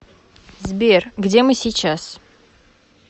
сбер где мы сейчас